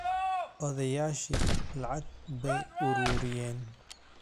Odayaashii lacag bay ururiyeen